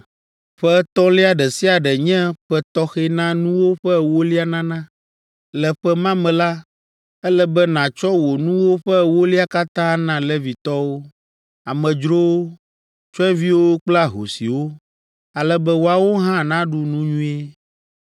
“Ƒe etɔ̃lia ɖe sia ɖe nye ƒe tɔxɛ na nuwo ƒe ewolia nana. Le ƒe ma me la, ele be nàtsɔ wò nuwo ƒe ewolia katã ana Levitɔwo, amedzrowo, tsyɔ̃eviwo kple ahosiwo, ale be woawo hã naɖu nu nyuie.